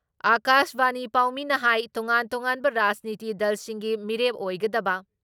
ꯑꯀꯥꯁꯕꯥꯅꯤ ꯄꯥꯎꯃꯤꯅ ꯍꯥꯏ ꯇꯣꯉꯥꯟ ꯇꯣꯉꯥꯟꯕ ꯔꯥꯖꯅꯤꯇꯤ ꯗꯜꯁꯤꯡꯒꯤ ꯃꯤꯔꯦꯞ ꯑꯣꯏꯒꯗꯕ